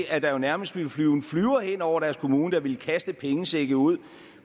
at der jo nærmest ville flyve en flyver hen over deres kommune der ville kaste pengesække ud